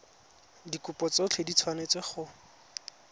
dikopo tsotlhe di tshwanetse go